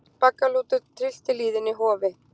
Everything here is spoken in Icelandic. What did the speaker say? Baggalútur tryllti lýðinn í Hofi